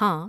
ہاں،